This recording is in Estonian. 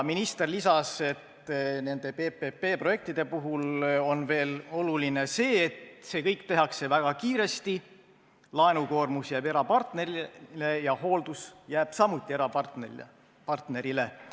Minister lisas, et nende PPP-projektide puhul on oluline veel see, et seda kõike tehakse väga kiiresti, laenukoormus jääb erapartnerile ja hooldus jääb samuti erapartnerile.